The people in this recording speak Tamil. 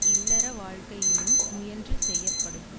இல்லற வாழ்க்கையிலும் முயன்று செய்யப்படும்